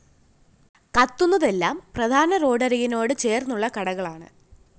കത്തുന്നതെല്ലാം പ്രധാന റോഡരികിനോട് ചേര്‍ന്നുള്ള കടകളാണ്